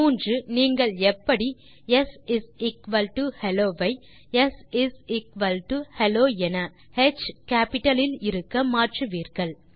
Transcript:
3நீங்கள் எப்படி shello ஐ sHello என ஹ் கேப்பிட்டல் இல் இருக்க மாற்றுவீர்கள்